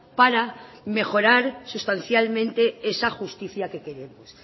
para mejorar sustancialmente esa justicia que queremos